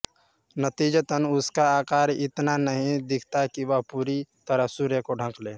नतीजतन उसका आकार इतना नहीं दिखता कि वह पूरी तरह सूर्य को ढक ले